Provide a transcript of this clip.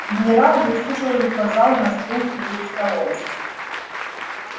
генерал выслушал и указал на стул перед столом